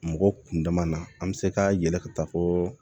Mɔgɔ kun dama na an bɛ se ka yɛlɛ ka taa fɔ